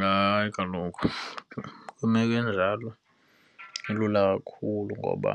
Hayi, kaloku kwimeko enjalo ilula kakhulu ngoba